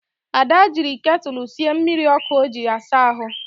Ada jiri ketulu sie mmiri ọkụ o ji asa ahụ